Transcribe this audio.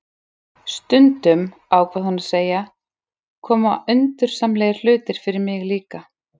Stundum, ákvað hún að segja, koma undursamlegir hlutir fyrir mig líka